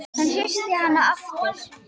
Hann hristir hana aftur.